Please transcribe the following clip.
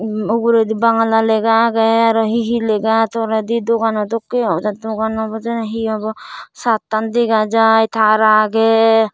umm uguredi bangla lega agey aro he he lega toledi dogan dokkey ai dogan obodey na he obo saatan dega jai taar agey.